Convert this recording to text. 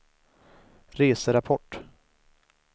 reserapport